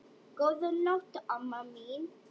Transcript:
Góða nótt, amma mín.